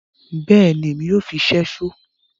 Bẹẹni, Èmi yoo fí ṣẹṣo